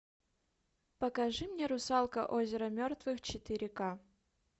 покажи мне русалка озеро мертвых четыре ка